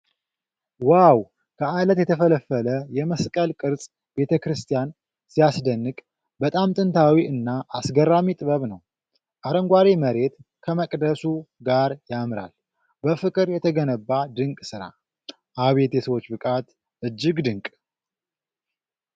ዋው! ከዓለት የተፈለፈለ የመስቀል ቅርጽ ቤተክርስቲያን! ሲያስደንቅ! በጣም ጥንታዊ እና አስገራሚ ጥበብ ነው። አረንጓዴ መሬት ከመቅደሱ ጋር ያምራል። በፍቅር የተገነባ ድንቅ ሥራ። አቤት የሰዎች ብቃት! እጅግ ድንቅ!